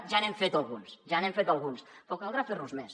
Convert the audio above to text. ja n’hem fet alguns ja n’hem fet alguns però caldrà fer ne més